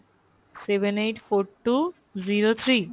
seven eight four two zero three